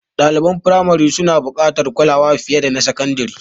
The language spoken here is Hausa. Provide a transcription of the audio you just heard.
Ɗaliban firamari suna buƙatar kulawa fiye da na sakandare.